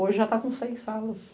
Hoje já está com seis salas.